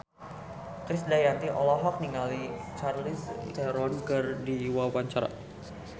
Krisdayanti olohok ningali Charlize Theron keur diwawancara